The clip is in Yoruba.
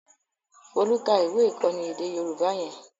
Folú ka ìwé-ìkọ́ni èdè Yorùbá yẹn?